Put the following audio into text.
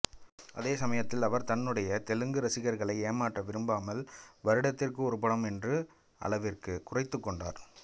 அதேசமயத்தில் அவர் தன்னுடைய தெலுங்கு ரசிகர்களை ஏமாற்ற விரும்பாமல் வருடத்திற்கு ஒரு படம் என்ற அளவிற்கு குறைத்துக்கொண்டார்